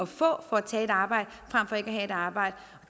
for at tage et arbejde frem for ikke at have et arbejde